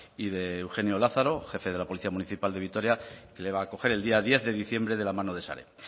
y de eugenio lázaro jefe de la policía municipal de vitoria que le va a acoger el día diez de diciembre de la mano de sare